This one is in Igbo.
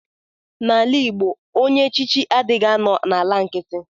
Na ala igbo ọnye echichi adighi anọ na ala nkiti.